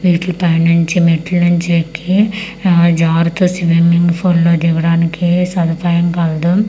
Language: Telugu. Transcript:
వీటిలి పై నుంచి మెట్లు నుంచి ఎక్కి ఆ జరుతూ స్విమ్యింగ్ పూల్ లో దిగడానికి సదుపాయం కలదు .